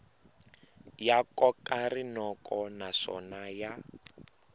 ya koka rinoko naswona ya